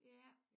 Ja